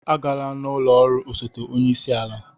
Agala n'ụlọ ọrụ osote onye isi ala